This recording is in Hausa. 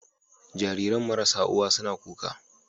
Jariran marasa uwa suna kuka